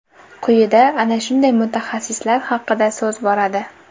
Quyida ana shunday mutaxassislar haqida so‘z boradi .